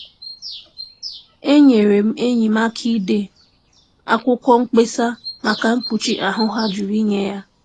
Enyere m enyi m aka ide akwụkwọ mkpesa maka mkpuchi ahụ ha jụrụ inye ya.